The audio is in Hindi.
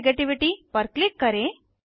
electro नेगेटिविटी पर क्लिक करें